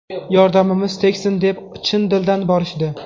Yordamimiz tegsin deb chin dildan borishdi.